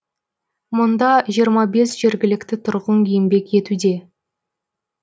мұнда жиырма бес жергілікті тұрғын еңбек етуде